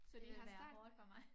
Det ville være hårdt for mig